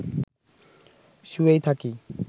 শুয়েই থাকি